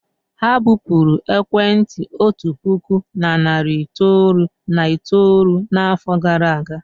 Ha bupụrụ ekwentị otu puku na narị itoolu na itoolu n'afọ gara aga.